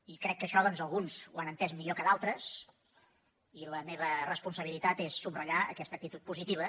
i crec que això doncs alguns ho han entès millor que d’altres i la meva responsabilitat és subratllar aquesta actitud positiva